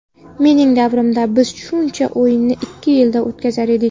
Mening davrimda biz shuncha o‘yinni ikki yilda o‘tkazar edik.